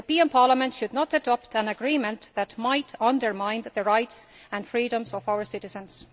Parliament should not adopt an agreement that might undermine the rights and freedoms of our citizens.